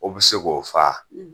O be se k'o faa.